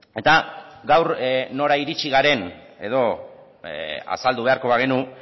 eta gaur nora iritsi garen edo azaldu beharko bagenu